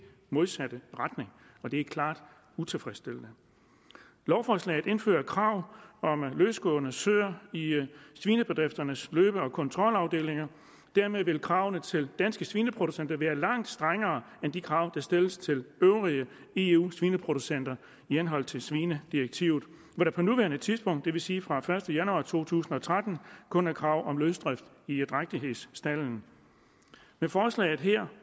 modsatte retning og det er klart utilfredsstillende lovforslaget indfører et krav om løsgående søer i svinebedrifternes løbe og kontrolafdelinger og dermed vil kravene til danske svineproducenter være langt strengere end de krav der stilles til de øvrige eu svineproducenter i henhold til svinedirektivet hvor der på nuværende tidspunkt det vil sige fra den første januar to tusind og tretten kun er krav om løsdrift i drægtighedsstalde med forslaget her